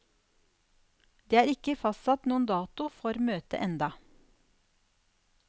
Det er ikke fastsatt noen dato for møtet enda.